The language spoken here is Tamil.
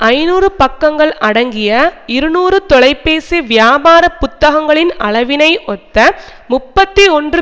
ஐநூறு பக்கங்கள் அடங்கிய இருநூறு தொலைபேசி வியாபாரபுத்தகங்களின் அளவினை ஒத்த முப்பத்தி ஒன்று